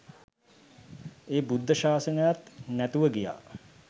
ඒ බුද්ධ ශාසනයත් නැතුව ගියා